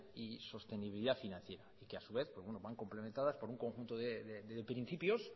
y sostenibilidad financiera que a su vez van complementadas por un conjunto de principios